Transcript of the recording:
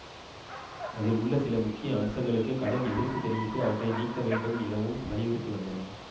அதில் உள்ள சில முக்கிய அம்சங்களுக்கு கடும் எதிர்ப்பு தெரிவித்து அவற்றை நீக்க வேண்டும் எனவும் வலியுறுத்தி வந்தன